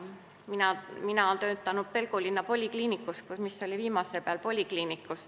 Mina olen töötanud Pelgulinna polikliinikus, mis oli viimase peal.